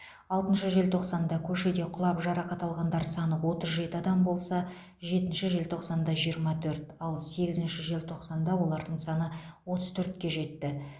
алтыншы желтоқсанда көшеде құлап жарақат алғандар саны отыз жеті адам болса жетінші желтоқсанда жиырма төрт ал сегізінші желтоқсанда олардың саны отыз төртке жетті